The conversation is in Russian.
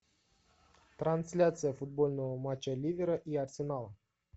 трансляция футбольного матча ливера и арсенала